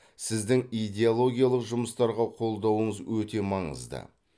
сіздің идеологиялық жұмыстарға қолдауыңыз өте маңызды